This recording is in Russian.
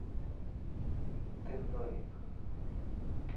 тындой